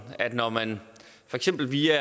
at når man for eksempel via